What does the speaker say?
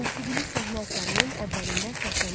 Musiqili səhnə əsərinin əvvəlində səslənən musiqi.